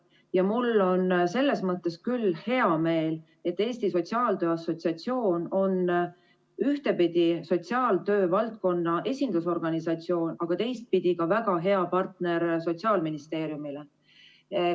Ja mul on selles mõttes küll hea meel, et Eesti Sotsiaaltöö Assotsiatsioon on küll ühtpidi sotsiaaltöövaldkonna esindusorganisatsioon, aga teistpidi ka väga hea partner Sotsiaalministeeriumile.